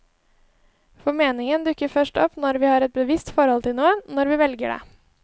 For meningen dukker først opp når vi har et bevisst forhold til noe, når vi velger det.